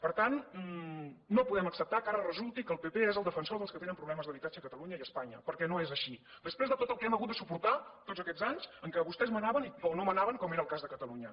per tant no podem acceptar que ara resulti que el pp és el defensor dels que tenen problemes d’habitatge a catalunya i a espanya perquè no és així després de tot el que hem hagut de suportar tots aquests anys en què vostès manaven o no manaven com era el cas de catalunya